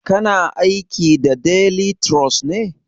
Kana aiki da delituros ne?